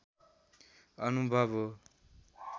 अनुभव हो